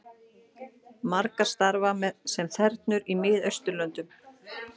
Margar starfa sem þernur í Miðausturlöndum